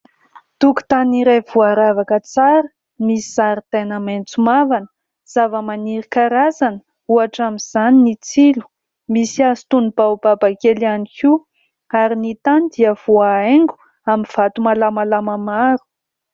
Tokotany iray voaravaka tsara, misy zaridaina maitso mavana, zavamaniry karazana ohatra amin'izany ny tsilo. Misy hazo toy ny baobaba kely ihany koa ary ny tany dia voahaingo amin'ny vato malamalama maro.